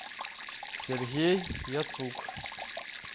сергей яцук